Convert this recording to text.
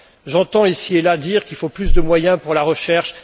J'entends ici et là dire qu'il faut plus de moyens pour la recherche.